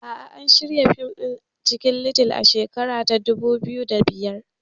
A'a, an shirya fim ɗin Cikin little a shekara ta dubu biyu da biyar